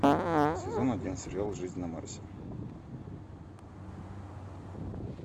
сезон один сериал жизнь на марсе